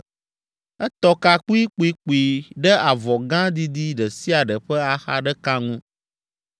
Etɔ ka kpuikpuikpui ɖe avɔ gã didi ɖe sia ɖe ƒe axa ɖeka ŋu,